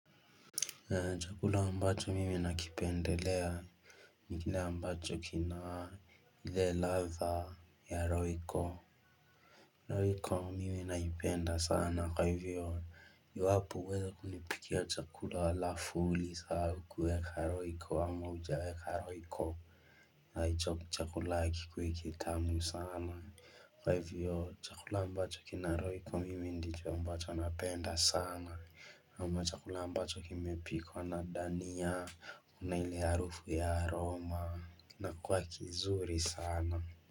Chakula ambacho mimi nakipendelea. Ni kile ambacho kina ile radha ya roiko. Roiko miwe naipenda sana kwa hivyo. Yuhapu weza kunipikia chakula lafuli saa ukuweka roiko ama ujaweka roiko. Na hicho chakula kikui kitamu sana. Kwa hivyo chakula ambacho kina roiko mimi ndicho ambacho napenda sana. Ama chakula ambacho kimepikwa na dania una ile arufu ya aroma na kuwa kizuri sana.